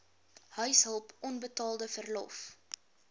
huishulp onbetaalde verlof